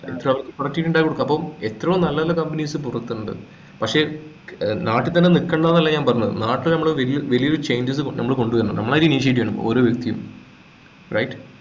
ഇണ്ടായിരുന്നു അപ്പം എത്രയോ നല്ല നല്ല companies പുറത്തുണ്ട് പക്ഷ ഏർ നാട്ടിൽ തന്നെ നിൽക്കണ്ടന്നല്ല ഞാൻ പറഞ്ഞത് നാട്ടിലെ നമ്മുടെ വലിയ വലിയൊരു changes നമ്മൾ കൊണ്ടുവരണം നമ്മളായിട്ട് initiative ചെയ്യണം ഓരോ വ്യക്തിയും right